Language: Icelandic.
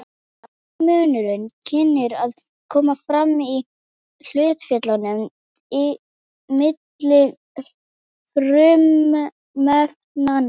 eini munurinn kynni að koma fram í hlutföllunum milli frumefnanna